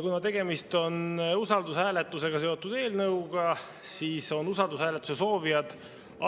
Kuna tegemist on usaldushääletusega seotud eelnõuga, siis on usaldushääletuse soovijad